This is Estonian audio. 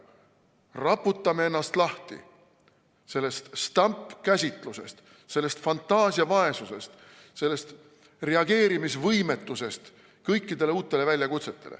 Raputame ennast lahti sellest stampkäsitlusest, sellest fantaasiavaesusest, sellest kõikidele uutele väljakutsetele reageerimise võimetusest!